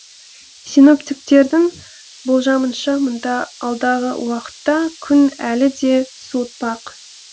синоптиктердің болжамынша мұнда алдағы уақытта күн әлі де суытпақ